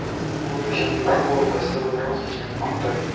боже сейчас бы такого простого рофла не выкупать